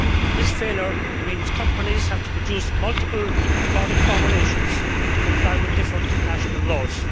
This failure means that companies have to produce multiple product formulations to comply with different national laws.